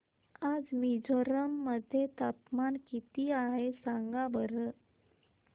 आज मिझोरम मध्ये तापमान किती आहे सांगा बरं